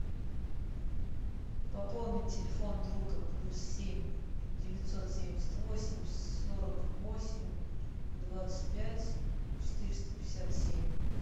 пополни телефон друга плюс семь девятьсот семьдесят восемь сорок восемь двадцать пять четыреста пятьдесят семь